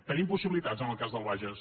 tenim possibilitats en el cas del bages